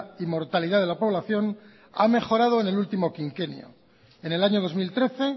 y mortalidad de la población ha mejorado en el último quinquenio en el año dos mil trece